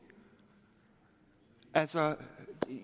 altså